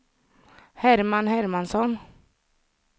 Herman Hermansson